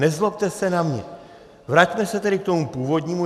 Nezlobte se na mě, vraťme se tedy k tomu původnímu.